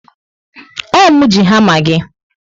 Ọ mụ ji hama gị